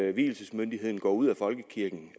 at vielsesmyndigheden går ud af folkekirken